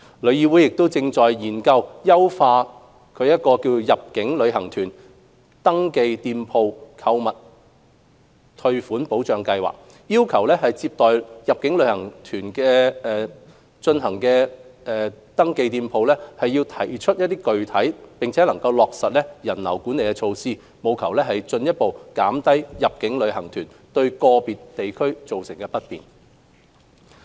旅議會亦正研究優化其入境旅行團購物退款保障計劃，要求接待入境旅行團進行定點購物的登記店鋪提出並落實人流管理措施，務求進一步減低入境旅行團對個別地區造成的不便。